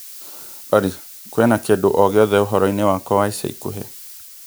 Olly kũina kĩndũ o gĩothe uhoro wakwa wa ica ikuhĩ